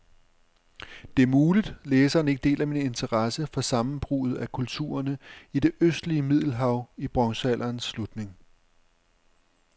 Det er muligt, læseren ikke deler min interesse for sammenbruddet af kulturerne i det østlige middelhav i bronzealderens slutning.